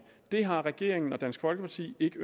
det har regeringen og dansk folkeparti ikke